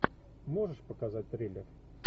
можешь показать трейлер